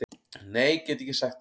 Nei get ekki sagt það.